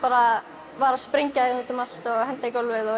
var að sprengja út um allt og henda